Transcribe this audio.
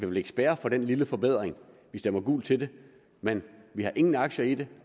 vil spærre for den lille forbedring at vi stemmer gult til den men vi har ingen aktier i det